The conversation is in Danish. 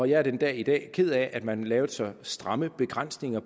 jeg er den dag i dag ked af at man lavede så stramme begrænsninger